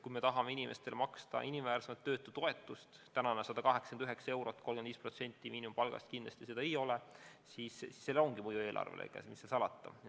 Kui me tahame inimestele maksta inimväärsemat töötutoetust – praegune 189 eurot ehk 35% miinimumpalgast kindlasti seda ei ole –, siis sellel on oma mõju eelarvele, mis siin salata.